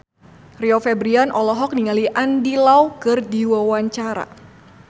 Rio Febrian olohok ningali Andy Lau keur diwawancara